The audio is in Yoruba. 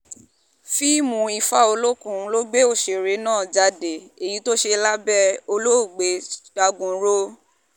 fíìmù ifá olókùn ló gbé òṣèré náà jáde èyí tó ṣe lábẹ́ olóògbé dagunro